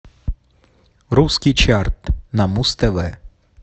русский чарт на муз тв